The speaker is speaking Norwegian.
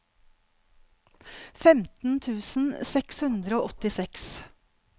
femten tusen seks hundre og åttiseks